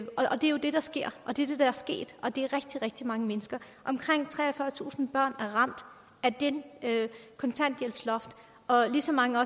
det der sker og det der er sket og det rigtig rigtig mange mennesker omkring treogfyrretusind børn er ramt af kontanthjælpsloftet og lige så mange af